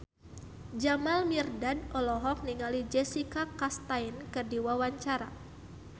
Jamal Mirdad olohok ningali Jessica Chastain keur diwawancara